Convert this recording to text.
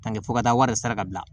Tanke fo ka taa wari sara ka bila